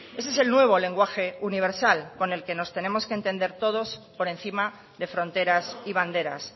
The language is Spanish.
ese es el nuevo lenguaje universal con el que nos tenemos que entender todos por encima de fronteras y banderas